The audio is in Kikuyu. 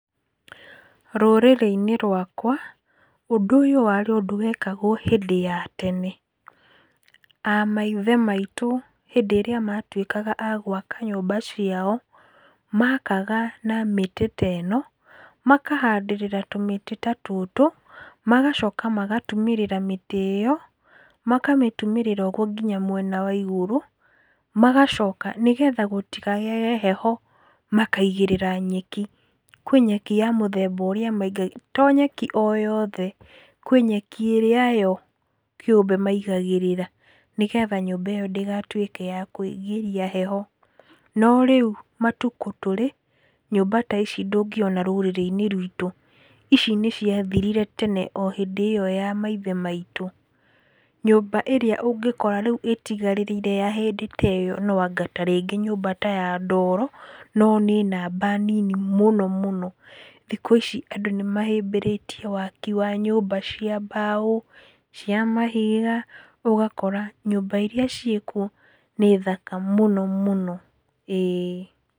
Rũrĩrĩ-inĩ rwakwa, ũndũ ũyũ warĩ ũndũ wekagwo hĩndĩ ya tene. A maithe maitũ hindĩ ĩrĩa matuĩkaga a gwaka nyũmba ciao, makaga na mĩtĩ teno, makahandĩrĩra tũmĩtĩ ta tũtũ, magacoka magatumĩrĩra mĩtĩ ĩyo makamĩtumĩrĩra ũgwo nginya mwena wa igũrũ, magacoka nĩgetha gũtikagĩage heho makaigĩrĩra nyeki, kwĩ nyeki ya mũthemba ũrĩa maiga, to nyeki o yothe, kwĩ nyeki ĩrĩa yo kĩũmbe maigagĩrĩra nĩgetha nyũmba ĩyo ndĩgatuĩke ya kũigĩria heho. No rĩu matukũ tũrĩ, nyũmba taici ndũngĩona rũrĩrĩ-inĩ rwĩtũ, ici nĩciathirire tene o hĩndĩ ĩyo ya maithe maitũ. Nyũmba ĩrĩa ũngĩkora rĩu ĩtigarĩrĩire ya hĩndĩ teyo noanga tarĩngĩ nyũmba ta ya ndoro no nĩ namba nini mũno mũno. Thikũ ici andũ nĩmahĩmbĩrĩtie waki wa nyũmba cia mbaũ, cia mahiga ũgakora nyũmba iria ciĩ kuo nĩ thaka mũno mũno, ĩĩ.